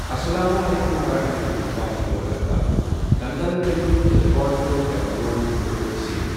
اسلام علیکم ورحمۃ اللہ وبرکاتہ دنگل فلمہِ ہُند رکارڈ کٔرِو ڈاوُن لوڈ تہٕ سیو۔